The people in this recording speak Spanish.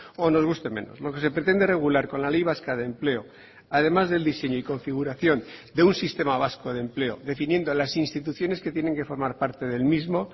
o nos guste menos lo que se pretende regular con la ley vasca de empleo además del diseño y configuración de un sistema vasco de empleo definiendo las instituciones que tienen que formar parte del mismo